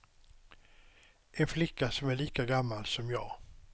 En flicka som är lika gammal som jag.